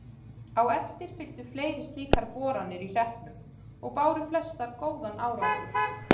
Á eftir fylgdu fleiri slíkar boranir í hreppnum og báru flestar góðan árangur.